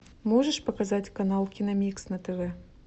можешь показать канал киномикс на тв